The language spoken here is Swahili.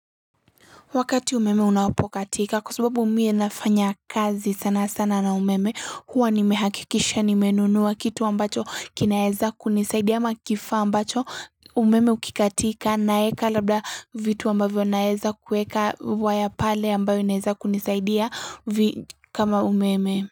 Wakati umeme unapokatika kwa sababu miye nafanya kazi sana sana na umeme huwa nimehakikisha nimenunuwa kitu ambacho kinaweza kunisaidia ama kifaa ambacho umeme ukikatika na eka labda vitu ambavyo naeza kuweka waya pale ambayo inaweza kunisaidia kama umeme.